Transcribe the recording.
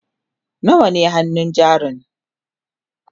nawa ne hannun jarin?